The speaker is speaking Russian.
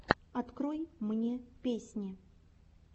открой мне песни